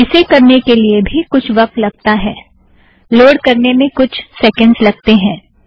इसे करने के लिए भी कुछ वक्त लगता है - लोड़ करने में कुछ सेकेंड़्स लगतें हैं